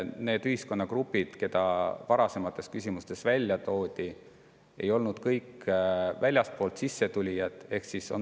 Need ühiskonnagrupid, keda varasemates küsimustes välja toodi, ei ole kõik väljastpoolt sisse tulijad.